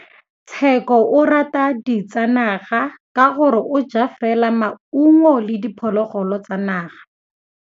Tshekô o rata ditsanaga ka gore o ja fela maungo le diphologolo tsa naga.